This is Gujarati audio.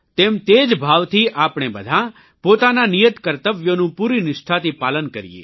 તેમ તે જ ભાવથી આપણે બધાં પોતાનાં નિયત કર્તવ્યોનું પૂરી નિષ્ઠાથી પાલન કરીએ